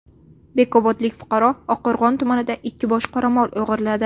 Bekobodlik fuqaro Oqqo‘rg‘on tumanida ikki bosh qoramol o‘g‘irladi.